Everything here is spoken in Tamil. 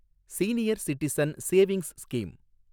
senior citizen savings scheme